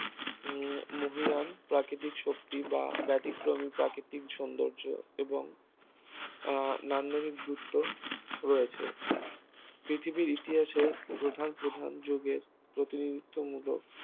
উম মহীয়ান প্রাকৃতিক শক্তি বা ব্যতিক্রমী প্রাকৃতিক সৌন্দর্য এবং এবং নান্দনিক গুরুত্ব রয়েছে পৃথিবীর ইতিহাসে প্রধান প্রধান যোগের প্রতিযোগিতামূলক